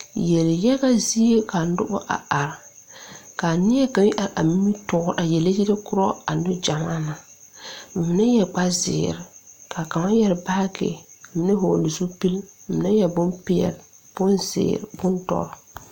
Yeliyaga zie ka nobɔ a are kaa neɛ kaŋ are a nimitoore a yele yɛlɛ korɔ a neŋ gyamaa na ba mine yɛre kparezeere kaa kaŋa yɛre baagi mine hɔɔle zupil mine yɛre bonpeɛle bonzeere bondɔre.